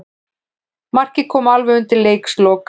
Markið kom alveg undir lok leiks.